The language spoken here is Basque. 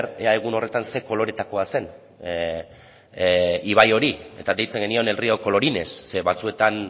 ea egun horretan ze koloretakoa zen ibai hori eta deitzen genion el río colorines ze batzuetan